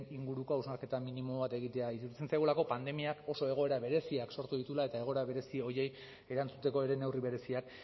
inguruko hausnarketa minimo bat egitea iruditzen zaigulako pandemiak oso egoera bereziak sortu dituela eta egoera berezi horiei erantzuteko ere neurri bereziak